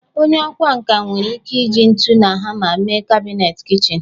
Onye ọkwá nkà nwere ike iji ntu na hama mee kabinet kichin